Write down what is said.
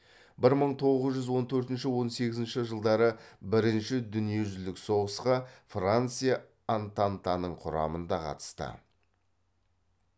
бір мың тоғыз жүз он төртінші он сегізінші жылдары бірінші дүниежүзілік соғысқа франция антантаның құрамында қатысты